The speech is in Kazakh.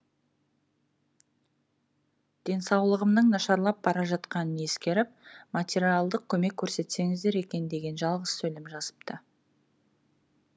денсаулығымның нашарлап бара жатқанын ескеріп материалдық көмек көрсетсеңіздер екен деген жалғыз сөйлем жазыпты